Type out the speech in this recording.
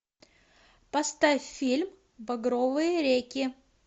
поставь фильм багровые реки